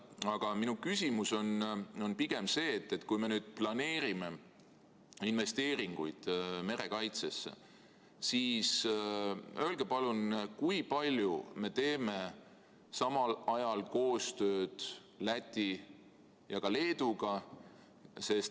Aga minu küsimus on see: kui me nüüd planeerime investeeringuid merekaitsesse, siis öelge palun, kui palju me teeme samal ajal koostööd Läti ja Leeduga.